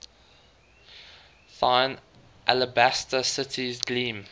thine alabaster cities gleam